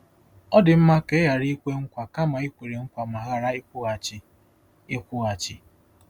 Ọ dị mma ka i ghara ikwe nkwa kama i kwere nkwa ma ghara ịkwụghachi. ” ịkwụghachi. ”